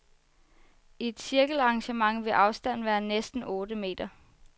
I et cirkelarrangement ville afstanden være næsten otte meter.